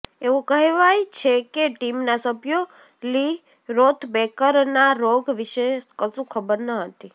એવું કહેવાય છે કે ટીમના સભ્યો લી રોથ બેકરના રોગ વિશે કશું ખબર ન હતી